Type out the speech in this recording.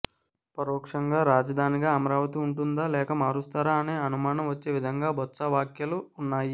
పరోక్షంగా రాజధానిగా అమరావతి ఉంటుందా లేక మారుస్తారా అనే అనుమానం వచ్చే విధంగా బొత్సా వ్యాఖ్యలు ఉన్నాయి